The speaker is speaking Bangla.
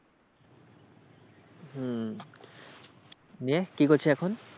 হম দিয়ে কি করছিস এখন?